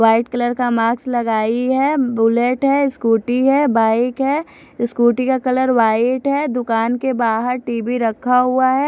White colour का mask लगाई है बुलेट है स्कूटी है बाइक है स्कूटी का कलर व्हाइट है दुकान के बाहर टी_वी रखा हुआ है।